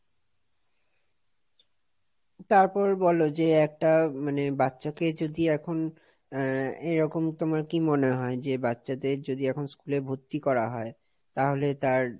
তারপর বলো যে একটা মানে, বাচ্চাকে যদি আহ এখন এরকম তোমার কি মনে হয় যে বাচ্চাদের যদি এখন school এ ভর্তি করা হয় তাহলে তার,